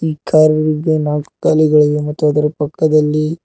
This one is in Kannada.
ಕಾರಿಗೆ ನಾಲ್ಕು ಗಾಲಿಗಳಿಗೆ ಮತ್ತು ಅದರ ಪಕ್ಕದಲ್ಲಿ.